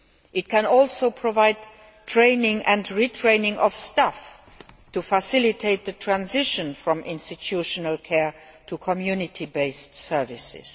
It can also provide training and retraining of staff to facilitate the transition from institutional care to community based services.